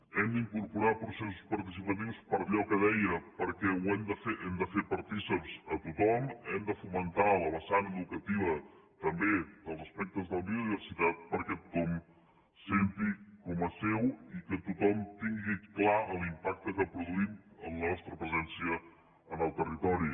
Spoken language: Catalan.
hem d’incorporar processos participatius per allò que deia perquè n’hem de fer partícips a tothom hem de fomentar la vessant educativa també dels aspectes de la biodiversitat perquè tothom ho senti com a seu i que tothom tingui clar l’impacte que produïm amb la nostra presència en el territori